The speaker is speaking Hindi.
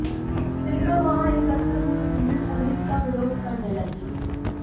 इस पर वहां एकत्र हुई भीड़ पुलिस का विरोध करने लगी